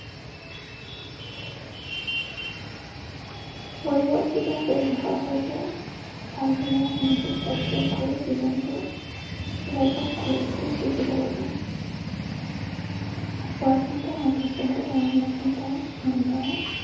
পৰিৱৰ্তিত পৰিৱেশৰ সৈতে তাল মিলাই মানসিক চাপ ত্যাগ কৰি জীৱনটো উপভোগ কৰিবলৈ শিকিব লাগে। পৰাখিনিতে সন্তুষ্ট হৈ ধনাত্মক চিন্তাই মন ভৰাই